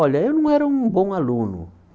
Olha, eu não era um bom aluno.